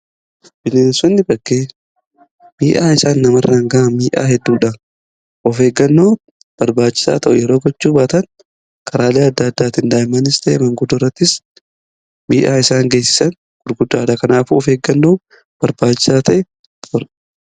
Bineensonni bakkee miidhaa isaan namarraan ga'an miidhaa hedduudha. Of eeggannoo barbaachisaa ta'u yeroo gochuu baatan karaalee adda addaatiin daa'immanis ta'e manguddorattis miidhaa isaan geessisan gurguddaadha. Kanaafu of eeggannoo barbaachisaa ta'e gochuudha.